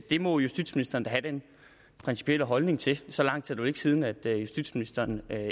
det må justitsministeren da have den principielle holdning til så lang tid siden er det at justitsministeren